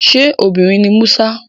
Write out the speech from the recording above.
Ṣé obìnrin ni Musa?